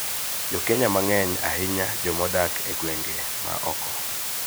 Jo Kenya mang�eny, ahinya joma odak e gwenge ma oko,